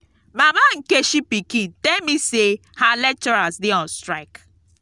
mama nkechi pikin tell me say her lecturers dey on strike